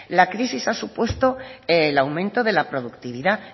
la crisis ha supuesto el aumento de la productividad